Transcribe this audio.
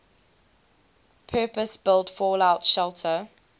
purpose built fallout shelter